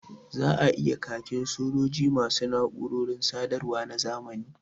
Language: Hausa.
Za a yi khakin sojoji ma su na’urorin sadarwa na zamani